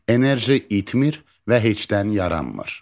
Enerji itmir və heçdən yaranmır.